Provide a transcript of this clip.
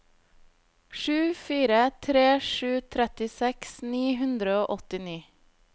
sju fire tre sju trettiseks ni hundre og åttini